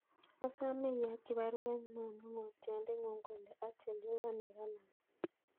Asame iyokyi baruet manung'otiondeng'ung kole achelewani raa langat